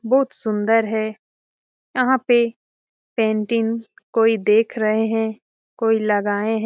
बहुत सुंदर है। यहां पे पेंटिंग कोई देख रहे हैं कोई लगाएं है।